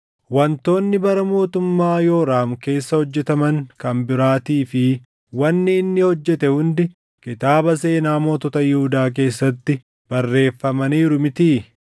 Wantoonni bara mootummaa Yooraam keessa hojjetaman kan biraatii fi wanni inni hojjete hundi kitaaba seenaa mootota Yihuudaa keessatti barreeffamaniiru mitii?